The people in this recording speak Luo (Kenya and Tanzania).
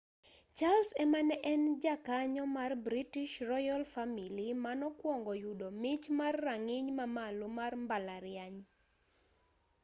charles ema ne en jakanyo mar british royal family manokwongo yudo mich mar rang'iny ma malo mar mbalariany